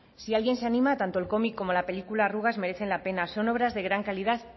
si alguien se anima tanto el cómic como la película arrugas merecen la pena son obras de gran calidad